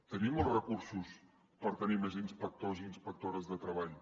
tenim els recursos per tenir més inspectors i inspectores de treball